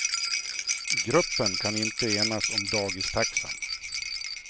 Gruppen kan inte enas om dagistaxan.